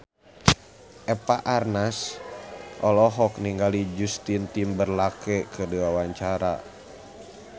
Eva Arnaz olohok ningali Justin Timberlake keur diwawancara